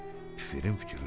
Pifirim fikirləşdi.